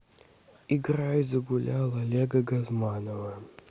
играй загулял олега газманова